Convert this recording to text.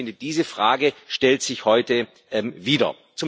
Ich finde, diese Frage stellt sich heute wieder.